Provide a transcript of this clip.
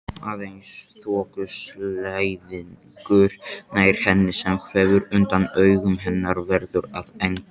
Aðeins þokuslæðingur nær henni sem hverfur undan augum hennar, verður að engu.